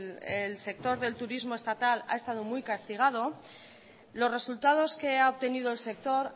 el sector del turismo estatal ha estado muy castigado los resultados que ha obtenido el sector